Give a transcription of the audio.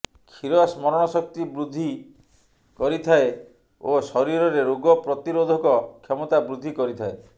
କ୍ଷୀର ସ୍ମରଣ ଶକ୍ତି ବୃଦ୍ଧି କରିଥାଏ ଓ ଶରୀରରେ ରୋଗ ପ୍ରତିରୋଧକ କ୍ଷମତା ବୃଦ୍ଧି କରିଥାଏ